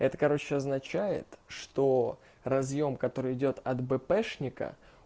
это короче означает что разъём который идёт от бпшника